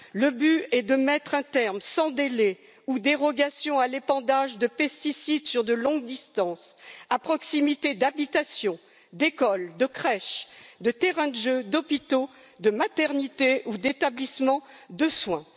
Le but est de mettre un terme, sans délai ni dérogations, à l'épandage de pesticides sur de longues distances à proximité d'habitations, d'écoles, de crèches, de terrains de jeux, d'hôpitaux, de maternités ou d'établissements de soins.